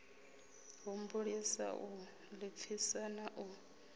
humbulisa u ḓipfisa na u